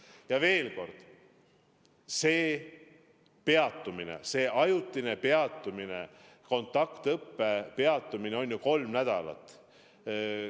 Ja veel kord: see on ajutine peatumine, kontaktõppe peatumine kestab ju kolm nädalat.